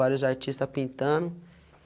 Vários artistas pintando.